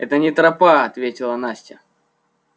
это не тропа ответила настя